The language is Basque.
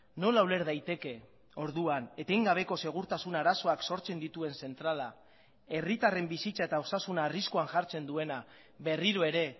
nola uler daiteke orduan etengabeko segurtasun arazoak sortzen dituen zentrala herritarren bizitza eta osasuna arriskuan jartzen duena berriro ere